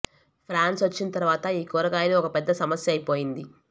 France వచ్చిన తరవాత ఈ కూరగాయలు ఒక పెద్ద సమస్య అయిపోయింది